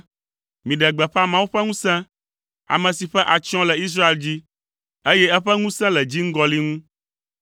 Miɖe gbeƒã Mawu ƒe ŋusẽ, ame si ƒe atsyɔ̃ le Israel dzi, eye eƒe ŋusẽ le dziŋgɔli ŋu.